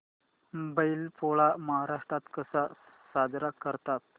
बैल पोळा महाराष्ट्रात कसा साजरा करतात